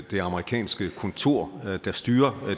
det amerikanske kontor der styrer